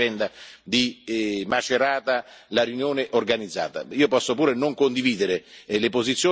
Tant'è che non è stato detto nulla, e poi l'esposizione politica non aveva niente a che fare con la vicenda di Macerata.